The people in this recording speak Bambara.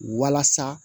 Walasa